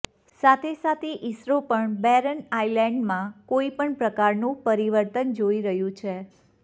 સાથે સાથે ઈસરો પણ બેરન આઇલેન્ડમાં કોઈપણ પ્રકારનું પરિવર્તન જોઈ રહ્યું છે